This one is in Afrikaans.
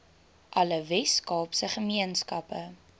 alle weskaapse gemeenskappe